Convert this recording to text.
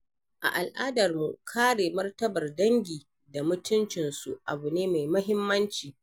A al’adarmu, kare martabar dangi da mutuncinsu abu ne mai muhimmanci.